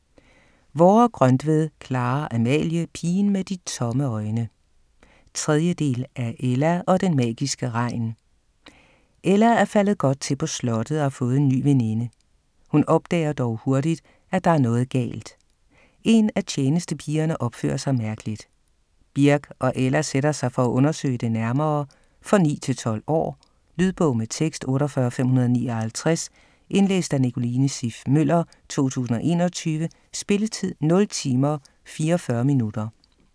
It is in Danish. Vorre-Grøntved, Clara-Amalie: Pigen med de tomme øjne 3. del af Ella og den magiske regn. Ella er faldet godt til på slottet og har fået en ny veninde. Hun opdager dog hurtigt, at der er noget helt galt. En af tjenestepigerne opfører sig meget mærkeligt. Birk og Ella sætter sig for at undersøge det nærmere. For 9-12 år. Lydbog med tekst 48559 Indlæst af Nicoline Siff Møller, 2021. Spilletid: 0 timer, 44 minutter.